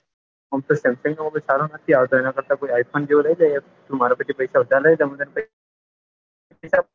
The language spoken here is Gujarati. એમ તો Samsung નોતો સારો નથી આવતો એના કરતા તું i phone જેવો લઇ લે તું માર કણ થી પૈસા ઉધાર લયલે આપડે i phone ફોન લઈશું i pone ઈલેવન